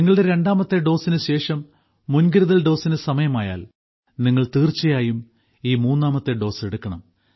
നിങ്ങളുടെ രണ്ടാമത്തെ ഡോസിന് ശേഷം മുൻകരുതൽ ഡോസിന് സമയമായാൽ നിങ്ങൾ തീർച്ചയായും ഈ മൂന്നാമത്തെ ഡോസ് എടുക്കണം